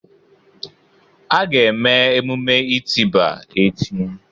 A ga-eme emume itiba echi.